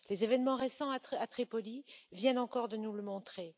Les événements récents à Tripoli viennent encore de nous le montrer.